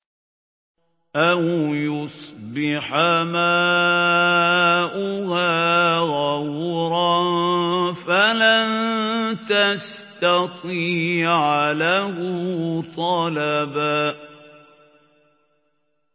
أَوْ يُصْبِحَ مَاؤُهَا غَوْرًا فَلَن تَسْتَطِيعَ لَهُ طَلَبًا